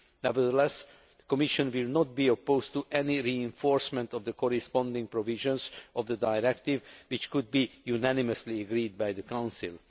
Nevertheless, the Commission will not be opposed to any reinforcement of the corresponding provisions of the Directive which could be unanimously agreed by the Council.